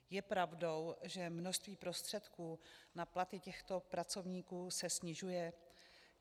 Je pravdou, že množství prostředků na platy těchto pracovníků se snižuje?